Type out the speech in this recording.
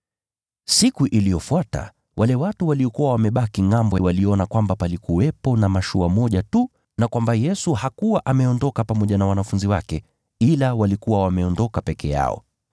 Siku iliyofuata, wale watu waliokuwa wamebaki ngʼambo waliona kwamba palikuwepo na mashua moja tu na kwamba Yesu hakuwa ameondoka pamoja na wanafunzi wake, ila walikuwa wameondoka peke yao.